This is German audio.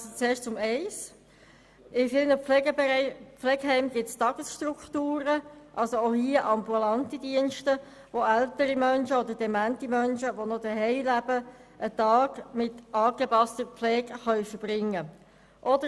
Zuerst zu Ziffer 1: In vielen Pflegeheimen gibt es Tagesstrukturen, also auch hier ambulante Dienste, wo ältere oder demente Menschen, die noch zu Hause leben, einen Tag mit angepasster Pflege verbringen können.